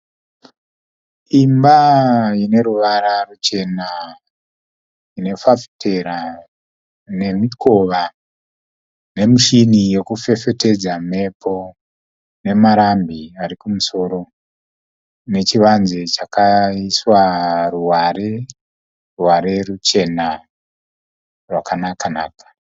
Imba ine ruvara ruchena. Ine fafitera nemikova nemichini yekufefetedza mhepo nemarambi ari kumusoro. Nechivanze chakaiswa ruware, ruware ruchena rwakanaka-naka.